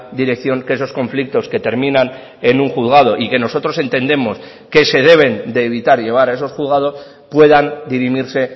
dirección que esos conflictos que terminan en un juzgado y que nosotros entendemos que se deben de evitar llevar a esos juzgados puedan dirimirse